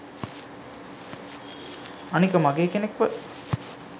අනික මගේ කෙනෙක්ව